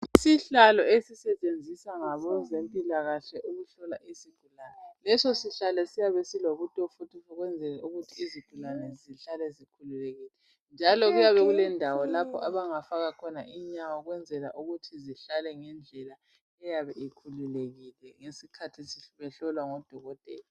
Isihlalo ezisetshenziswa ngabezempilakahle ukuhlola isigulane leso sihlalo siyabe silobutofu ukwenzela ukuthi izigulane zihlale zikhululekile njalo kuyabe kulendawo lapho abangafa khona inyawo ukwenzela ukuthi zihlale ngendlela eyabe ikhululekile ngesikhathi behlolwa ngodokotela.